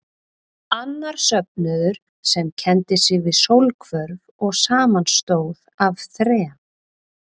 Annar söfnuður, sem kenndi sig við sólhvörf og samanstóð af þrem